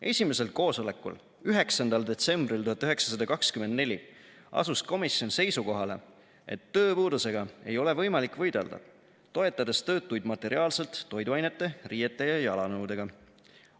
Esimesel koosolekul 9. detsembril 1924 asus komisjon seisukohale, et tööpuudusega ei ole võimalik võidelda, toetades töötuid materiaalselt toiduainete, riiete ja jalanõudega.